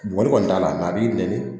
Boli kɔni t'a la a b'i nɛni